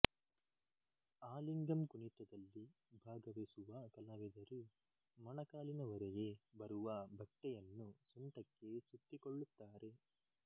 ಆಲಿಗಂ ಕುಣಿತದಲ್ಲಿ ಭಾಗವಹಿಸುವ ಕಲಾವಿದರು ಮೊಣಕಾಲಿನವರೆಗೆ ಬರುವ ಬಟ್ಟೆಯನ್ನು ಸೊಂಟಕ್ಕೆ ಸುತ್ತಿಕೊಳ್ಳುತ್ತಾರೆ